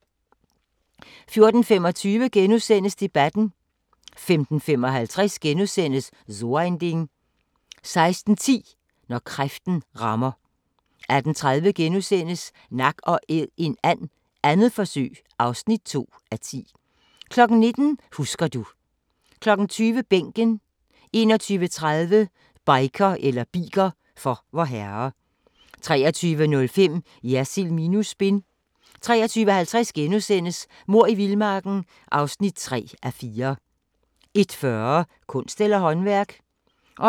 14:25: Debatten * 15:55: So ein Ding * 16:10: Når kræften rammer 18:30: Nak & æd en and - 2. forsøg (2:10)* 19:00: Husker du ... 20:00: Bænken 21:30: Biker for Vorherre 23:05: Jersild minus spin 23:50: Mord i vildmarken (3:4)* 01:40: Kunst eller håndværk?